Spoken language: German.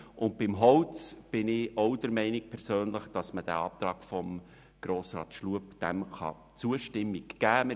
Was das Holz betrifft, bin ich persönlich der Meinung, dass man dem Antrag von Grossrat Schlup die Zustimmung geben kann.